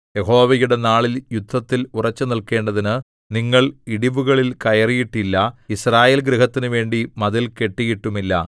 യഹോവയുടെ നാളിൽ യുദ്ധത്തിൽ ഉറച്ചുനില്ക്കേണ്ടതിന് നിങ്ങൾ ഇടിവുകളിൽ കയറിയിട്ടില്ല യിസ്രായേൽ ഗൃഹത്തിനുവേണ്ടി മതിൽ കെട്ടിയിട്ടുമില്ല